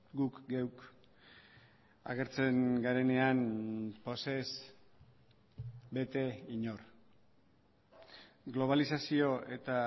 guk geuk agertzen garenean pozez bete inor globalizazio eta